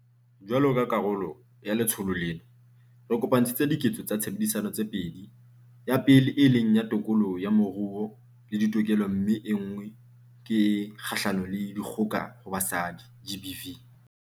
Jwalo ka karolo ya letsholo lena, re kopantshitse 'Diketso tsa Tshebedisano' tse pedi, ya pele e leng ya tokoloho ya moruo le ditokelo mme enngwe ke e kgahlano le dikgoka ho basadi, GBV.